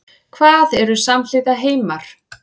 Hvað eru samhliða heimar?